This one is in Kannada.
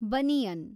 ಬನಿಯನ್